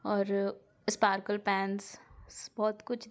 और sparkle pens बहुत कुछ दिख--